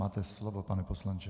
Máte slovo, pane poslanče.